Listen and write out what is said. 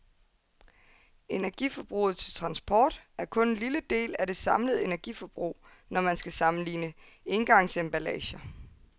Energiforbruget til transport er kun en lille del af det samlede energiforbrug, når man skal sammenligne engangsemballager.